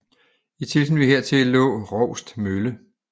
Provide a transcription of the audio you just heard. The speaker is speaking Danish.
I tilknytning hertil lå Roust mølle